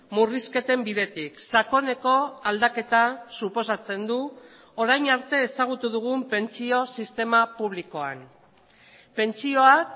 murrizketen bidetik sakoneko aldaketa suposatzen du orain arte ezagutu dugun pentsio sistema publikoan pentsioak